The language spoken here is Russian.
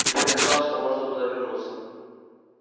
теперь казалось что можно туда вернуться